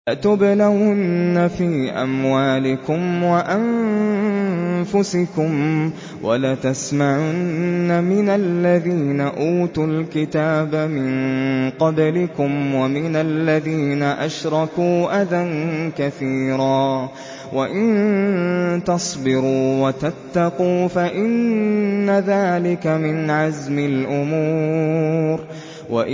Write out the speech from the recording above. ۞ لَتُبْلَوُنَّ فِي أَمْوَالِكُمْ وَأَنفُسِكُمْ وَلَتَسْمَعُنَّ مِنَ الَّذِينَ أُوتُوا الْكِتَابَ مِن قَبْلِكُمْ وَمِنَ الَّذِينَ أَشْرَكُوا أَذًى كَثِيرًا ۚ وَإِن تَصْبِرُوا وَتَتَّقُوا فَإِنَّ ذَٰلِكَ مِنْ عَزْمِ الْأُمُورِ